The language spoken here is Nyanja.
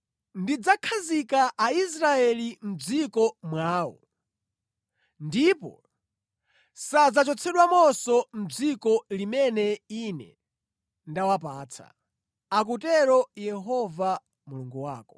Ndidzakhazika Aisraeli mʼdziko mwawo, ndipo sadzachotsedwamonso mʼdziko limene Ine ndawapatsa,” akutero Yehova Mulungu wako.